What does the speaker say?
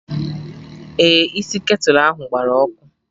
Ee, isi ketulu ahụ gbara ọkụ